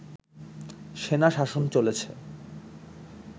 সেনাশাসন চলেছে